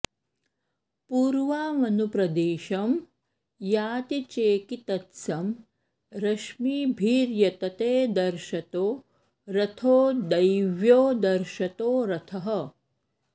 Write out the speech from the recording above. पूर्वामनु प्रदिशं याति चेकितत्सं रश्मिभिर्यतते दर्शतो रथो दैव्यो दर्शतो रथः